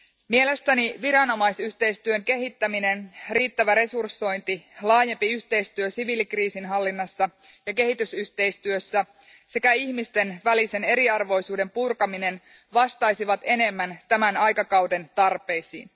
Mielestäni viranomaisyhteistyön kehittäminen, riittävä resursointi, laajempi yhteistyö siviilikriisinhallinnassa ja kehitysyhteistyössä sekä ihmisten välisen eriarvoisuuden purkaminen vastaisivat enemmän tämän aikakauden tarpeisiin.